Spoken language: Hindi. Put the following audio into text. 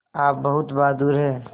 आप बहुत बहादुर हैं